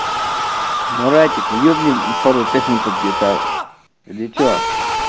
маратик ёбнем пару песен под гитару или что